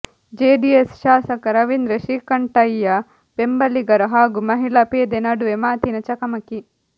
JDS ಶಾಸಕ ರವೀಂದ್ರ ಶ್ರೀಕಂಠಯ್ಯ ಬೆಂಬಲಿಗರು ಹಾಗೂ ಮಹಿಳಾ ಪೇದೆ ನಡುವೆ ಮಾತಿನ ಚಕಮಕಿ